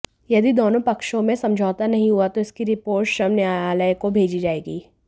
यदि दोनों पक्षों में समझौता नहीं हुआ तो इसकी रिपोर्ट श्रम न्यायालय को भेजी जाएगी